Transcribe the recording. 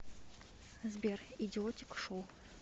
сбер идиотик шоу